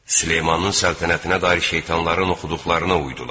Süleymanın səltənətinə dair şeytanların oxuduqlarına uydular.